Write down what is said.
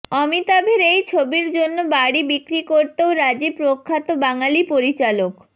অমিতাভের এই ছবির জন্য বাড়ি বিক্রি করতেও রাজি প্রখ্যাত বাঙালি পরিচালক